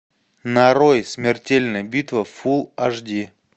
нарой смертельная битва фул аш ди